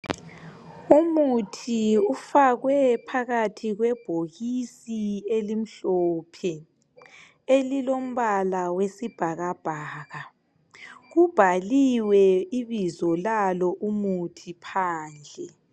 umuthi ufakwe phakathi kwebhokisi elimhlophe elilombala wesibhakabhaka ubhaliwe ibizo lalo umuthi phandle